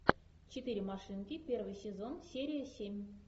четыре машинки первый сезон серия семь